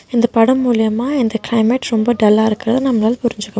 இந்த படம் மூலியமா இந்த கிளைமேட் ரொம்ப டல்லா இருக்கு நம்பலால புரின்ஜிக்க மு --